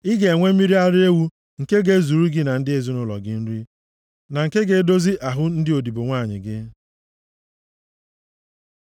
Ị ga-enwe mmiri ara ewu nke ga-ezuru gị na ndị ezinaụlọ gị nri, na nke ga-edozi ahụ ndị odibo nwanyị gị.